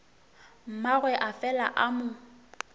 mmagwe a fela a mo